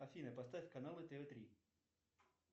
афина поставь каналы тв три